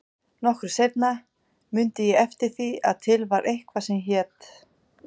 Nokkru seinna mundi ég eftir því að til var eitthvað sem hét